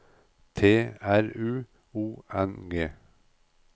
T R U O N G